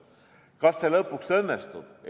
Kas see lõpuks õnnestub?